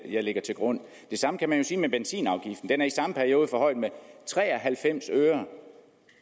jeg lægger til grund det samme kan man jo sige med benzinafgiften den er i samme periode forhøjet med tre og halvfems øre